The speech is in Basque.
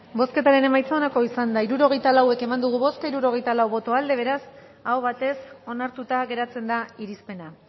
bozketaren emaitza onako izan da hirurogeita lau eman dugu bozka hirurogeita lau boto aldekoa beraz aho batez onartuta geratzen da irizpena